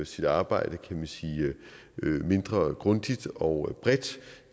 sit arbejde mindre grundigt og bredt